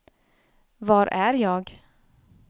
var är jag